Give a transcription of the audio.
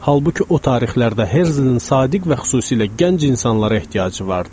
Halbuki o tarixlərdə Herzlin sadiq və xüsusilə gənc insanlara ehtiyacı vardı.